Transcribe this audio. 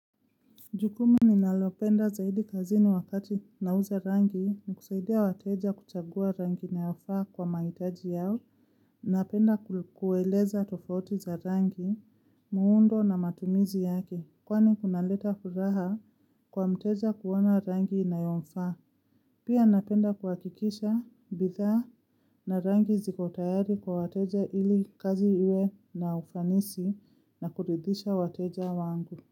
Jukumu ninalopenda zaidi kazini wakati nauza rangi, ni kusaidia wateja kuchagua rangi inayofaa kwa maitaji yao. Napenda kueleza tofauti za rangi, muundo na matumizi yake. Kwani kunaleta furaha kwa mteja kuona rangi inayomfaa. Pia napenda kuakikisha, bidha na rangi ziko tayari kwa wateja ili kazi iwe na ufanisi, na kuridhisha wateja wangu.